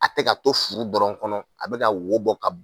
A tɛ ka to furu dɔrɔn kɔnɔ a bɛ ka wo bɔ ka